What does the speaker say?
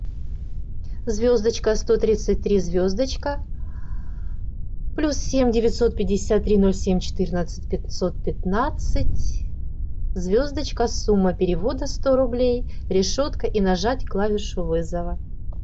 звездочка сто тридцать три звездочка плюс семь девятьсот пятьдесят три ноль семь четырнадцать пятьсот пятнадцать звездочка сумма перевода сто рублей решетка и нажать клавишу вызова